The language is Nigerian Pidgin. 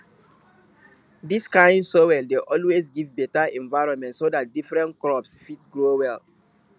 dis kind soil dey always give beta environment so dat different crops fit grow well